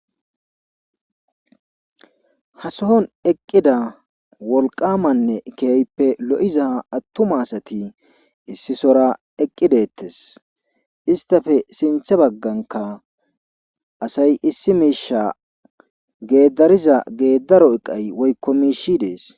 Ha sohon eqida wolqamanne keehippe lo'iza atuma asay issisora eqi detes, istappe sinthe baganka asay issi misha gedariza gedaro eqay woyko mishiy Desi.